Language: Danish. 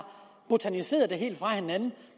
botaniseret det helt fra hinanden